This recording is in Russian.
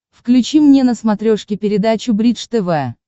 включи мне на смотрешке передачу бридж тв